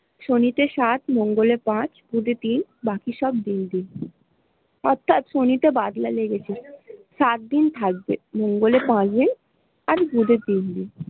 শনি তে সাত মঙ্গলে পাঁচ বুধে তিন বাকি সব অর্থাৎ শনি তে বাদলা লেগেছে সাত দিন থাকবে মঙ্গলে পাঁচ দিন আর বুধে তিন দিন।